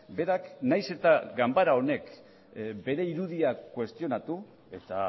berak nahiz eta ganbara honek bere irudia kuestionatu eta